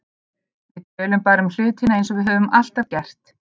Við tölum bara um hlutina eins og við höfum alltaf gert.